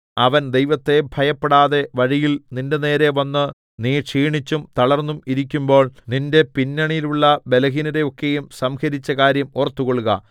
അവൻ ദൈവത്തെ ഭയപ്പെടാതെ വഴിയിൽ നിന്റെനേരെ വന്ന് നീ ക്ഷീണിച്ചും തളർന്നും ഇരിക്കുമ്പോൾ നിന്റെ പിന്നണിയിലുള്ള ബലഹീനരെ ഒക്കെയും സംഹരിച്ച കാര്യം ഓർത്തുകൊള്ളുക